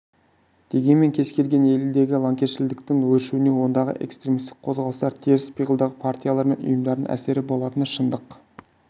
дегенмен кез келген елдегі лаңкесшілдіктің өршуіне ондағы экстремистік қозғалыстар теріс пиғылдағы партиялар мен ұйымдардың әсері болатыны шындық